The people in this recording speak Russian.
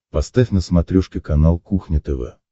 поставь на смотрешке канал кухня тв